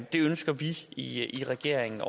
det ønsker vi i regeringen